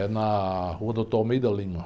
É na rua Doutor Almeida Lima.